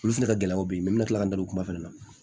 Olu fɛnɛ ka gɛlɛn u bɛ yen n bɛ tila ka n da don o kuma fana na